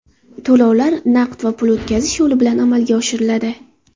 To‘lovlar naqd va pul o‘tkazish yo‘li bilan amalga oshiriladi.